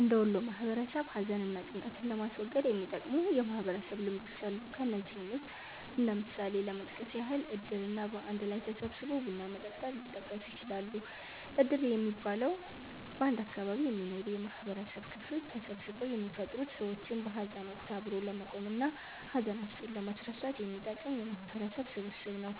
እንደ ወሎ ማህበረሰብ ሀዘን እና ጭንቀትን ለማስወገድ የሚጠቅሙ የማህበረሰብ ልምዶች አሉ። ከነዚህም ውስጥ እንደ ምሳሌ ለመጥቀስ ያህል እድር እና በአንድ ላይ ተሰባስቦ ቡና መጠጣት ሊጠቀሱ ይችላሉ። እድር የሚባለው፤ በአንድ አካባቢ የሚኖሩ የማህበረሰብ ክፍሎች ተሰባስበው የሚፈጥሩት ሰዎችን በሀዘን ወቀት አብሮ ለመቆም እና ሀዘናቸውን ለማስረሳት የሚጠቅም የማህበረሰብ ስብስብ ነው።